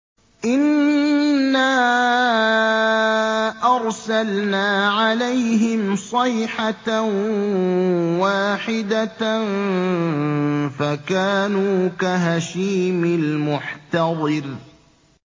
إِنَّا أَرْسَلْنَا عَلَيْهِمْ صَيْحَةً وَاحِدَةً فَكَانُوا كَهَشِيمِ الْمُحْتَظِرِ